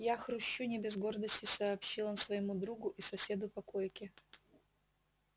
я хрущу не без гордости сообщил он своему другу и соседу по койке